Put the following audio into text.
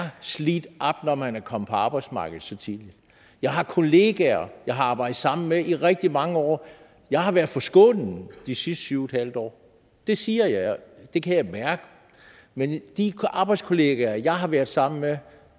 slidt op når man er kommet på arbejdsmarkedet så tidligt jeg har kollegaer jeg har arbejdet sammen med i rigtig mange år jeg har været forskånet de sidste syv en halv år det siger jeg og det kan jeg mærke men de arbejdskolleger jeg har været sammen med og